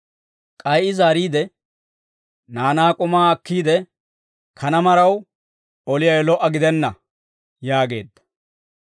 K'ay I zaariide, «Naanaa k'umaa akkiide, kanaa maraw oliyaawe lo"a gidenna» yaageedda.